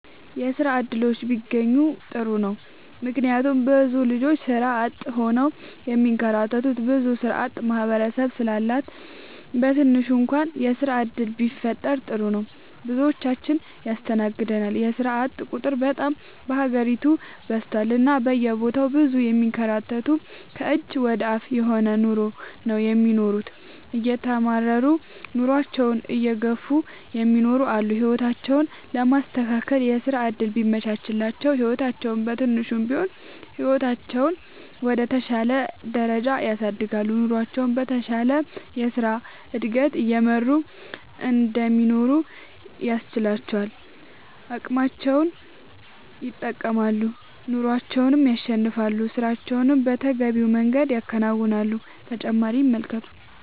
የስራ እድሎች ቢያገኙ ጥሩ ነው ምክንያቱም ብዙ ልጆች ስራ አጥ ሆነው የሚንከራተቱ ብዙ ስራአጥ ማህበረሰብ ስላለ በትንሹ እንኳን የስራ ዕድል ቢፈጠር ጥሩ ነው። ብዙዎችን ያስተናግዳል የስራአጥ ቁጥር በጣም በሀገሪቱ በዝቷል እና በየቦታው ብዙ የሚንከራተቱ ከእጅ ወደ አፍ የሆነ ኑሮ ነው የሚኖሩት እየተማረሩ ኑሮአቸውን እየገፍ እሚኖሩ አሉ። ህይወታቸውን ለማስተካከል የስራ ዕድል ቢመቻችላቸው ህይወታቸውን በትንሹም ቢሆን ህይወታቸውን ወደ ተሻለ ደረጃ ያሳድጋሉ። ኑሮቸውን በተሻለ የስራ ዕድገት እየመሩ እንዲኖሩ ያስችላቸዋል አቅማቸውን ይጠቀማሉ ኑሮንም ያሸንፋሉ። ስራቸውን በተገቢው መንገድ ያከናውናሉ።…ተጨማሪ ይመልከቱ